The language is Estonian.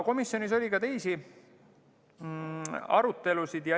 Komisjonis oli ka teisi arutelusid.